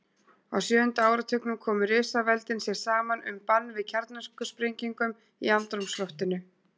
Á sjöunda áratugnum komu risaveldin sér saman um bann við kjarnorkusprengingum í andrúmsloftinu.